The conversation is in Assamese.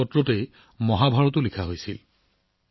এই ভোজপাত্ৰৰ ওপৰতো মহাভাৰত ৰচনা কৰা হৈছিল